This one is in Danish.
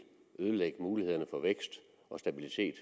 ødelægge mulighederne for vækst og stabilitet